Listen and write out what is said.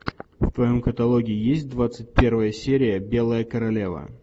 в твоем каталоге есть двадцать первая серия белая королева